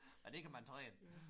Og det kan man træne